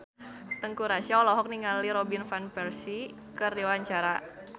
Teuku Rassya olohok ningali Robin Van Persie keur diwawancara